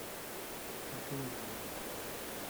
афина наверное